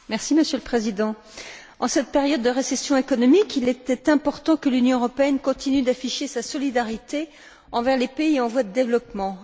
Monsieur le Président, en cette période de récession économique, il était important que l'Union européenne continue d'afficher sa solidarité envers les pays en voie de développement.